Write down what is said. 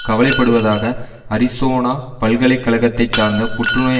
கவலைப்படுவதாக Arizona பல்கலை கழகத்தை சார்ந்த புற்றுநோய்